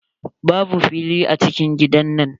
Babu fili a cikin gidan nan.